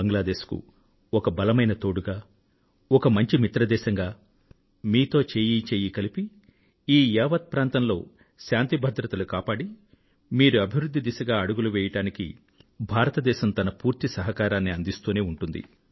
బంగ్లాదేశ్ కు ఒక బలమైన తోడుగా ఒక మంచిమిత్రదేశంగా మీతో చేయీ చేయీ కలిపి ఈ యావత్ ప్రాంతంలో శాంతి భద్రతలను కాపాడి మీరు అభివృధ్ధి దిశగా అడుగులు వెయ్యడానికి భారతదేశం పూర్తి సహకారాన్ని అందిస్తూనే ఉంటుంది